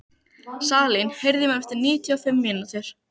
Salín, heyrðu í mér eftir níutíu og fimm mínútur.